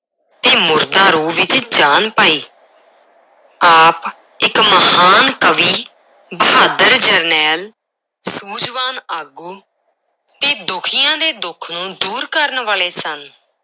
ਤੇ ਮੁਰਦਾ ਰੂਹ ਵਿੱਚ ਜਾਨ ਪਾਈ ਆਪ ਇੱਕ ਮਹਾਨ ਕਵੀ, ਬਹਾਦਰ ਜਰਨੈਲ, ਸੂਝਵਾਨ ਆਗੂ ਤੇ ਦੁਖੀਆਂ ਦੇ ਦੁੱਖ ਨੂੰ ਦੂਰ ਕਰਨ ਵਾਲੇ ਸਨ।